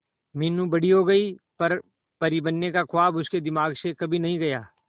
मीनू बड़ी हो गई पर परी बनने का ख्वाब उसके दिमाग से कभी नहीं गया